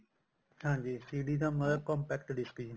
ਹਾਂਜੀ CD ਦਾ ਮਤਲਬ compact disk ਜੀ